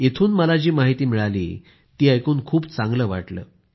इथली जी माहिती मिळाली ती ऐकून खूप चांगले वाटले